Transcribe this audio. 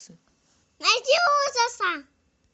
найди ужасы